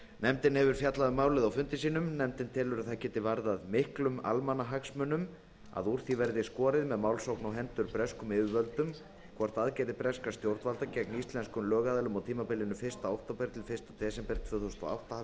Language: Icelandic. nefndin hefur fjallað um málið á fundum sínum nefndin telur að það geti varðað miklum almannahagsmunum að úr því verði skorið með málsókn á hendur breskum yfirvöldum hvort aðgerðir breskra stjórnvalda gegn íslenskum lögaðilum á tímabilinu fyrsta október til fyrsta desember tvö þúsund og átta hafi